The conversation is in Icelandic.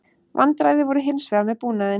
Vandræði voru hins vegar með búnaðinn